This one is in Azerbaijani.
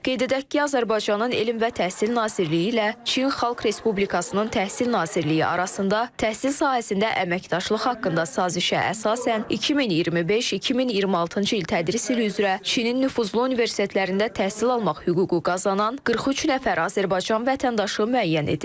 Qeyd edək ki, Azərbaycanın Elm və Təhsil Nazirliyi ilə Çin Xalq Respublikasının Təhsil Nazirliyi arasında təhsil sahəsində əməkdaşlıq haqqında sazişə əsasən 2025-2026-cı il tədris ili üzrə Çinin nüfuzlu universitetlərində təhsil almaq hüququ qazanan 43 nəfər Azərbaycan vətəndaşı müəyyən edilib.